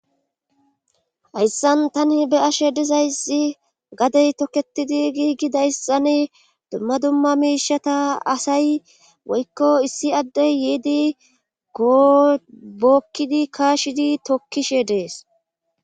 hayssan tani be ashe dizayssi gadey tokketidi giigi dayssani dumma dumma miishata asay woykko issi addey yeedi goobookkidi kaashidi tokkishe dees